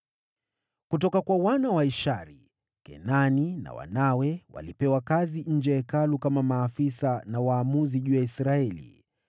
Kutoka kwa wana wa Ishari: Kenania na wanawe walipewa kazi nje ya Hekalu kama maafisa na waamuzi juu ya Israeli.